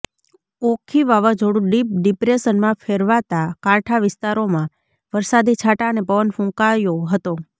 ઓખી વાવાઝોડું ડિપ ડિપ્રેશનમાં ફેરવાતા કાંઠા વિસ્તારોમાં વરસાદી છાંટા અને પવન ફૂંકાયો હતો